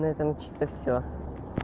на этом чисто всё